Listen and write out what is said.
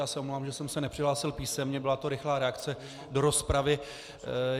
Já se omlouvám, že jsem se nepřihlásil písemně, byla to rychlá reakce do rozpravy.